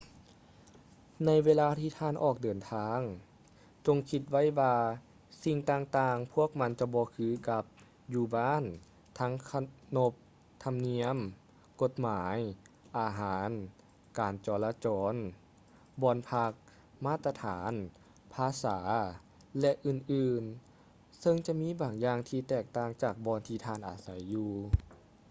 ໃນເວລາທີ່ທ່ານອອກເດີນທາງ ຈົ່ງຄິດໄວ້ວ່າສິ່ງຕ່າງໆພວກມັນຈະບໍ່ຄືກັບ ຢູ່ບ້ານ ທັງຂະໜົບທຳນຽມ ກົດໝາຍ ອາຫານ ການຈໍລະຈອນ ບ່ອນພັກ ມາດຕະຖານ ພາສາ ແລະ ອື່ນໆ ເຊິ່ງຈະມີບາງຢ່າງທີ່ແຕກຕ່າງຈາກບ່ອນທີ່ທ່ານອາໄສຢູ່